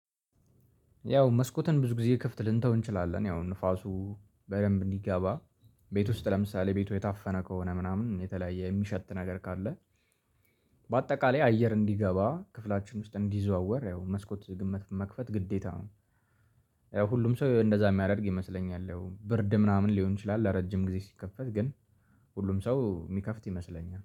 ያው መስኮትን ብዙ ጊዜ ክፍት ልንተው እንችላለን ያው ንፋሱ በደንብ እንዲገባ። ቤት ውስጥ ለምሳሌ ቤቱ የታፈነ ከሆነ ምናምን የተለያየ የሚሸት ነገር ካለ። በአጠቃላይ አየር እንዲገባ ክፍላችን ውስጥ እንዲዘዋወር ያው መስኮት መክፈት ግዴታ ነው። ያው ሁሉም ሰው እንደዛ የሚያደርግ ይመስለኛል። ብርድ ምናምን ሊሆን ይችላል ለረጅም ጊዜ ሲከፈት ግን። ሁሉም ሰው የሚከፍት ይመስለኛል